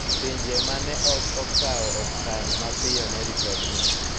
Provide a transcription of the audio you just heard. Pinje ma ne ok okawo okang ' mapiyo ne ripodno